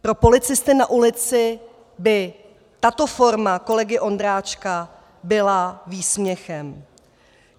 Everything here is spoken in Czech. Pro policisty na ulici by tato forma kolegy Ondráčka byla výsměchem.